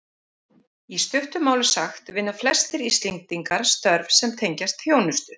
Í stuttu máli sagt vinna flestir Íslendingar störf sem tengjast þjónustu.